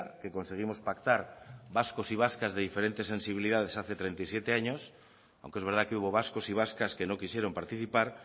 que conseguimos pactar vascos y vascas de diferentes sensibilidades hace treinta y siete años aunque es verdad que hubo vascos y vascas que no quisieron participar